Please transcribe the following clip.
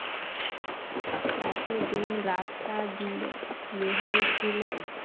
এতদিন রাস্তার দুবে বেহাল ছিল